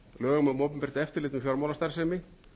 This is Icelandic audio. lögum um opinbert eftirlit með fjármálastarfsemi